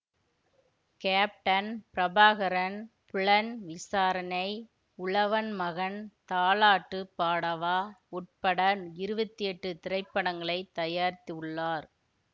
captain Prabhakaran புலன்விசாரணை உழவன் மகன் தாலாட்டுப் பாடவா உட்பட இருவத்தி எட்டு திரைப்படங்களை தயாரித்துள்ளார்